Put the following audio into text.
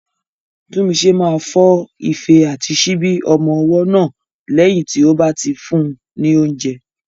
Tunmise máa fọ ife àti síbi ọmọ ọwọ́ náà lẹ́yìn tí ó bá ti fún un ní oúnjẹ.